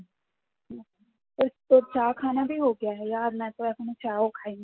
এখনো চা ও খাইনি